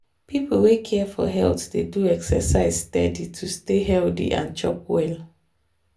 people wey care for health dey do exercise steady to stay healthy and chop well.